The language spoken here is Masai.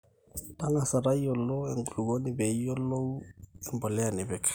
tang'asa tayiolo enkulukuoni pee iyiolou empolea nipik